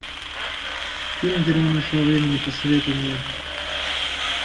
фильм герой нашего времени посоветуй мне